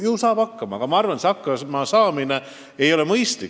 Ju saab ka nii hakkama, aga ma arvan, sel moel hakkamasaamine ei ole mõistlik.